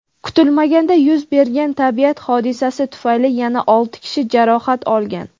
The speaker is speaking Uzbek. kutilmaganda yuz bergan tabiat hodisasi tufayli yana olti kishi jarohat olgan.